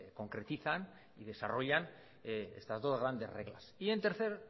concretizan y desarrollan estas dos grandes reglas y en tercer